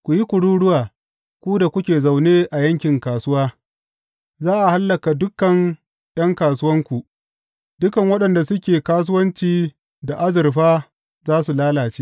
Ku yi kururuwa, ku da kuke zaune a yankin kasuwa; za a hallaka dukan ’yan kasuwanku, dukan waɗanda suke kasuwanci da azurfa za su lalace.